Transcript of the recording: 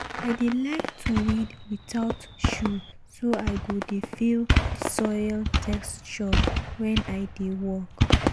i dey like to weed without shoe so i go dey feel the soil texture wen i dey work.